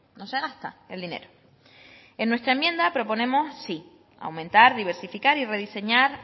no se gasta el dinero en nuestra enmienda proponemos sí aumentar diversificar y rediseñar